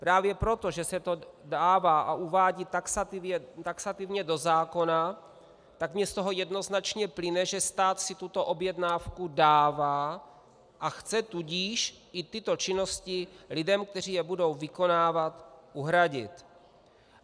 Právě proto, že se to dává a uvádí taxativně do zákona, tak mi z toho jednoznačně plyne, že stát si tuto objednávku dává, a chce tudíž i tyto činnosti lidem, kteří je budou vykonávat, uhradit.